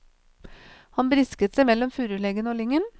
Han brisket seg mellom furuleggene og lyngen.